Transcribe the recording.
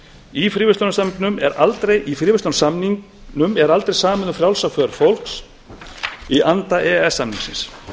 í fríverslunarsamningnum er aldrei samið um frjálsa för fólks í anda e e s samningsins